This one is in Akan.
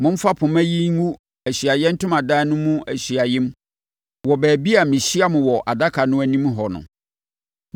Momfa mpoma yi ngu Ahyiaeɛ Ntomadan no mu ahyiaeɛm wɔ baabi a mehyia mo wɔ adaka no anim hɔ no.